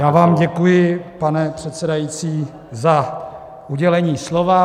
Já vám děkuji, pane předsedající, za udělení slova.